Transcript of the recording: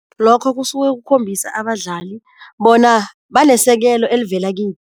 Lokho kusuke kukhombisa abadlali bona banesekelo elivela